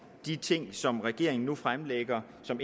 de ting som regeringen nu fremlægger som